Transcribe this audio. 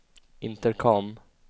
intercom